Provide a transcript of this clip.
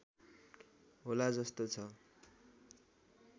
होला जस्तो छ